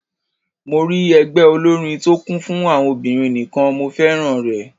Mo rí ẹgbẹ́ olórin tó kún fún àwọn obìnrin nìkan, mo féràn rẹ̀.